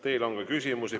Teile on ka küsimusi.